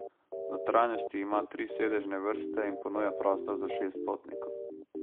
V notranjosti ima tri sedežne vrste in ponuja prostor za šest potnikov.